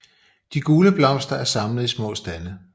De gule blomster er samlet i små stande